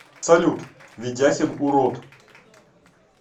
салют ведяхин урод